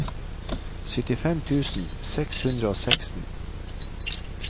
syttifem tusen seks hundre og seksten